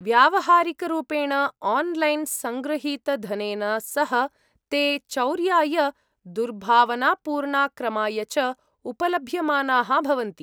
व्यावहारिकरूपेण 'online' सङ्गृहीतधनेन सह ते चौर्याय दुर्भावनापूर्णाक्रमाय च उपलभ्यमानाः भवन्ति।